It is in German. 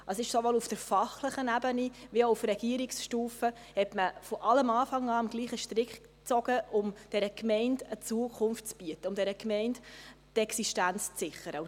Man hat sowohl auf fachlicher Ebene als auch auf Stufe Regierung von allem Anfang an am selben Strick gezogen, um dieser Gemeinde eine Zukunft zu bieten, um dieser Gemeinde die Existenz zu sichern.